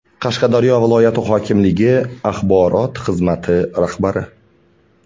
Qashqadaryo viloyat hokimligi axborot xizmati rahbari.